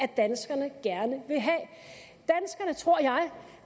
danskerne tror jeg